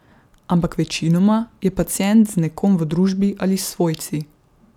Ampak večinoma je pacient z nekom v družbi ali s svojci.